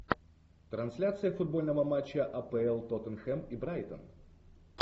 трансляция футбольного матча апл тоттенхэм и брайтон